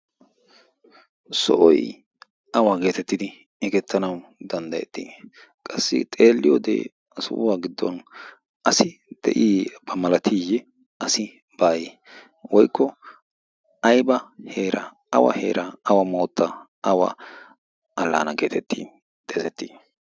soohoy awa geettettidi xeegettanawu danddayetii? qassi xeelliyoode ha sohuwaan asi de'iyaaba malatiyee asi baaye woykko ayba heera awa heera awa mootta awa allana getetti xeegetti?